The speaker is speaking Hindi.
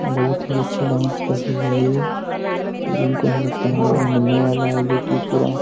बहुत ही अच्छा डांस कर रही है ये जिनको हमे लगता है मैडल मिलने वाला है जोकि पूरा --